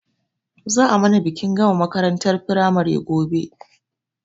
Za a mana bikin gama makarantar firamare gobe